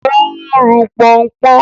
Ó ń ru pọnpọ́n.